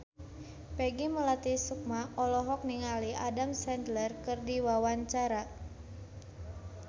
Peggy Melati Sukma olohok ningali Adam Sandler keur diwawancara